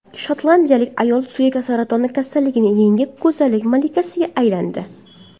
Shotlandiyalik ayol suyak saratoni kasalligini yengib, go‘zallik malikasiga aylandi.